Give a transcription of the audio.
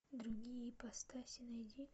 другие ипостаси найди